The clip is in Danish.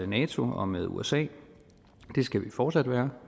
nato og med usa det skal vi fortsat være